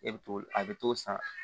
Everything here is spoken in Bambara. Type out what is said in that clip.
E bɛ t'o a bɛ t'o san